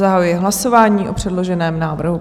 Zahajuji hlasování o předloženém návrhu.